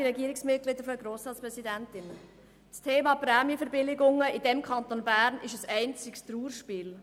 Das Thema Prämienverbilligungen im Kanton Bern ist ein einziges Trauerspiel.